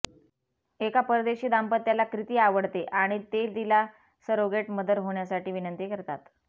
एका परदेशी दाम्पत्याला क्रिती आवडते आणि ते तिला सरोगेट मदर होण्यासाठी विनंती करतात